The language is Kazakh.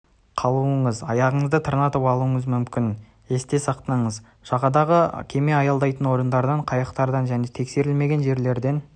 қалуыңыз аяғыңызды тырнатып алуыңыз мүмкін есте сақтаңыз жағадағы кеме аялдайтын орындардан қайықтардан және тексерілмеген жерлерден